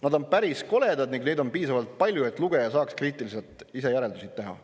Nad on päris koledad ning neid on piisavalt palju, et lugeja saaks kriitiliselt ise järeldusi teha.